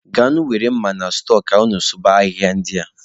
Gaanụ were mma na stọọ ka unu sụba ahịhịa ndị a.